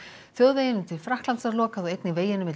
þjóðveginum til Frakklands var lokað og einnig veginum milli